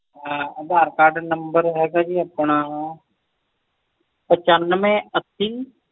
ਅਧਾਰ cardnumber ਹੈਗਾ ਜੀ ਆਪਣਾ ਪਛਾਂਵੇ ਅੱਸੀ